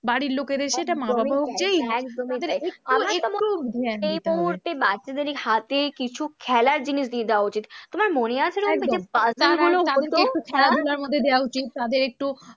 বাড়ির লোকেদের সেটা মা বাবাকেই তাই এই মুহূর্তে বাচ্চাদের এই হাতে কিছু খেলার জিনিস দিয়ে দেওয়া উচিত, তোমার মনে আছে রুম্পা? দেওয়া উচিত, তাদের একটু